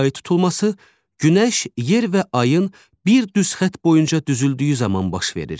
Ay tutulması günəş, yer və ayın bir düz xətt boyunca düzüldüyü zaman baş verir.